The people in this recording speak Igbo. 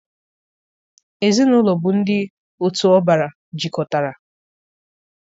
Ezinaụlọ bụ ndị otu ọbara jikọtara.